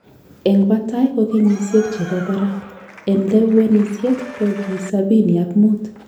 En batai ko kenyisiek chebo barak en lewenisiet ko gi sapini ak muut